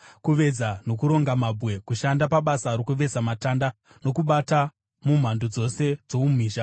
kuveza nokuronga mabwe, kushanda pabasa rokuveza matanda, nokubata mumhando dzose dzoumhizha.